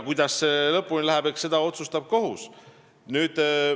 Kuidas need lõpevad, eks seda otsustab kohus.